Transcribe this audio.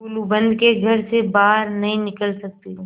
गुलूबंद के घर से बाहर नहीं निकल सकते